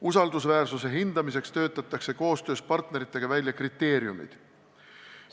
Usaldusväärsuse hindamiseks töötatakse koostöös partneritega välja kriteeriumid.